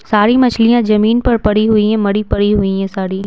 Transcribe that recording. सारी मछलियां जमीन पर पड़ी हुई हैं मड़ी पड़ी हुई हैं साड़ी ।